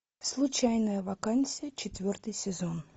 случайная вакансия четвертый сезон